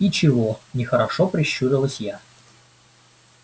и чего нехорошо прищурилась я